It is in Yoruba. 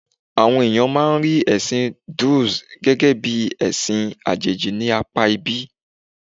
Àwọn èèyàn máa rí ẹ̀sìn Druze gẹ́gẹ́ bí ẹ̀sì àjẹ̀jì ní apá ibí.